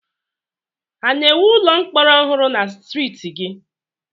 Ha na-ewu ụlọ mkpọrọ ọhụrụ na streeti gị?